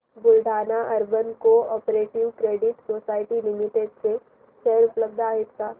Buldhana urban cooperative credit society limited चे share उपलब्ध आहेत का